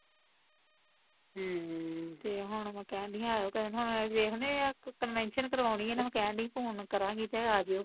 ਹਮ ਤੇ ਹੁਣ ਮੈਂ ਕਹਿਣ ਡਈ ਸੀ ਆਈਓ ਕਿਸੀ ਦਿਨ, ਹੁਣ ਅਸੀਂ ਵੇਖਦੇ ਆ ਕਨਵੇਨਸ਼ਨ ਕਰਵਾਉਣੀ ਐ ਇਹਨਾਂ ਨੂੰ ਮੈਂ ਕਹਿਣ ਡਈ ਸੀ ਫੋਨ ਕਰਾਂਗੀ ਤੇ ਆਜੀਓ